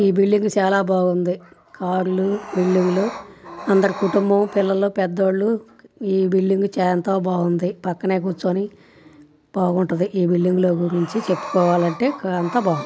ఈ బిల్డింగ్ చాలా బాగుంది. కార్ లు బిల్డింగ్ లు అందరి కుటుంబం పిల్లలుపెద్దోళ్ళు. ఈ బిల్డింగ్ చ-ఎంతో బాగుంది. పక్కనే కూర్చొని బాగుంటది. ఈ బిల్డింగ్ లో గురించి చెప్పుకోవాలంటే ఇక్కడంతా బాగుంది.